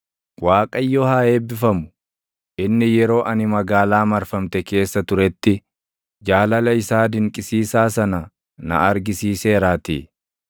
Waaqayyo haa eebbifamu; inni yeroo ani magaalaa marfamte keessa turetti, jaalala isaa dinqisiisaa sana na argisiiseeraatii.